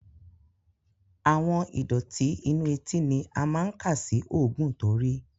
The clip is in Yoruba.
Àwọn ìdọ̀tí inú etí ni a máa ń kà sí òógùn to rìí.